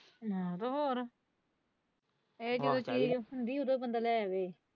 ਹਾਂ ਤੇ ਹੋਰ ਇਹ ਜਦੋਂ ਚੀਜ਼ ਰੱਖਣ ਓਦੋ ਹੀ ਬੰਦਾ ਲੈ ਆਵੇ।